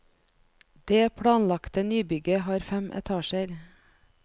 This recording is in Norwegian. Det planlagte nybygget har fem etasjer.